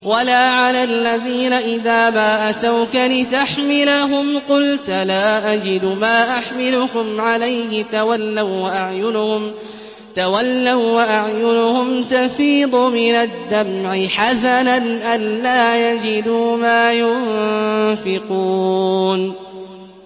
وَلَا عَلَى الَّذِينَ إِذَا مَا أَتَوْكَ لِتَحْمِلَهُمْ قُلْتَ لَا أَجِدُ مَا أَحْمِلُكُمْ عَلَيْهِ تَوَلَّوا وَّأَعْيُنُهُمْ تَفِيضُ مِنَ الدَّمْعِ حَزَنًا أَلَّا يَجِدُوا مَا يُنفِقُونَ